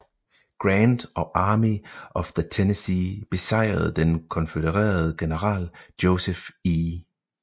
Grant og Army of the Tennessee besejrede den konfødererede general Joseph E